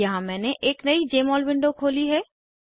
यहाँ मैंने एक नयी जमोल विंडो खोली है